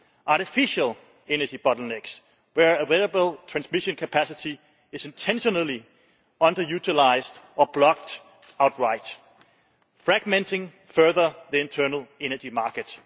and artificial energy bottlenecks, where available transmission capacity is intentionally under utilised or blocked outright, fragmenting further the internal energy market.